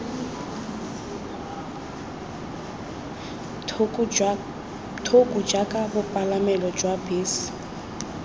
thoko jaaka bopalamelo jwa bese